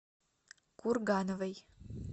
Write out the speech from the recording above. кургановой